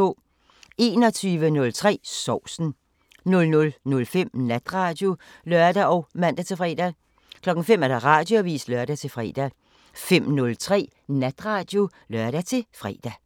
21:03: Sovsen 00:05: Natradio (lør og man-fre) 05:00: Radioavisen (lør-fre) 05:03: Natradio (lør-fre)